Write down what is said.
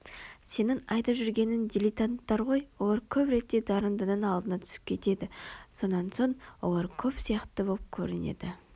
сенің айтып жүргенің диллетанттар ғой олар көп ретте дарындының алдына түсіп кетеді сонан соң олар көп сияқты боп көрінеді